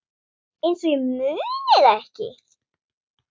Einsog ég muni það ekki!